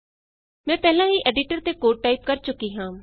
ਮੈਂ ਪਹਿਲਾਂ ਹੀ ਐਡੀਟਰ ਤੇ ਕੋਡ ਟਾਈਪ ਕਰ ਚੁੱਕੀ ਹਾਂ